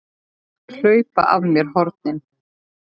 Hlaupa af mér hornin.